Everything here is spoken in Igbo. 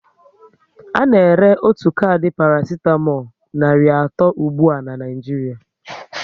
Ana ere otu kardi parasitamolu nari atọ ụgbụa na Naịjiria